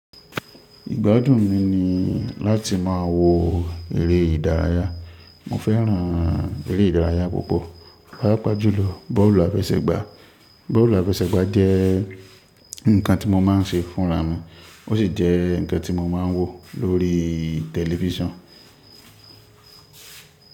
Ìgbádùn mi ni láti máa wo eré ìdárayá. Mo fẹ́ràn eré ìdárayá púpọ̀, páápá jùlọ bọ́ọ̀lù àfẹsẹ̀gbá. Bọ́ọ̀lù àfẹsẹ̀gbá jẹ́ nǹkan tí mo máa ń ṣe fúnra mi, ó sì jẹ́ nǹkan tí mo máa ń wò lórí tẹ̀lifísàn.